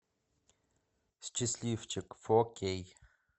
счастливчик фо кей